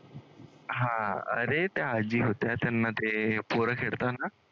हां अरे त्या आज्जी होत्या त्यांना ते पोरं